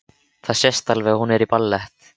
Það sést alveg að hún er í ballett.